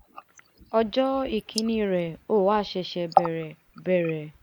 ọjọ́ ìkíní rèé o a ṣẹ̀ṣẹ̀ bẹ̀rẹ̀ bẹ̀rẹ̀